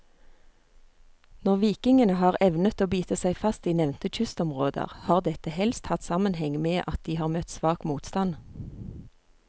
Når vikingene har evnet å bite seg fast i nevnte kystområder, har dette helst hatt sammenheng med at de har møtt svak motstand.